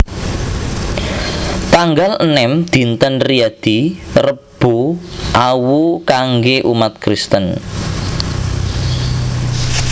tanggal enem Dinten Riyadi Rebu Awu kanggé umat Kristen